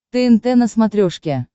тнт на смотрешке